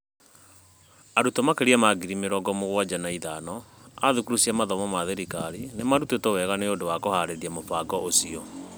Arutwo makĩria ma ngiri mĩrongo mũgwanja na ithano a thukuru cia mathomo ma thirikari nĩ marutĩtwo wega nĩ ũndũ wa kũhaarĩria mũbango ũcio.